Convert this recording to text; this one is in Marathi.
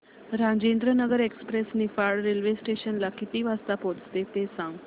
Rajendranagar express Niphad railway station ला किती वाजता पोहचते ते सांग